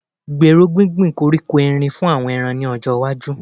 Gbèrò gbíngbin koríko Erin fún àwọn ẹran ní ọjọ́ iwájú